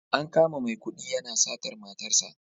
An kama Maikudi yana satar matarsa